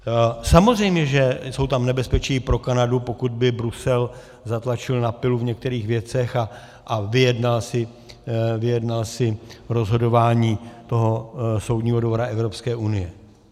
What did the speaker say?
Samozřejmě že jsou tam nebezpečí pro Kanadu, pokud by Brusel zatlačil na pilu v některých věcech a vyjednal si rozhodování toho Soudního dvora Evropské unie.